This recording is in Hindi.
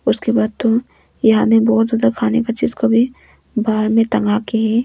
उसके बाद दो यहां तो में बहुत ज्यादा खाने का चीज को भी बाहर में टंगा की।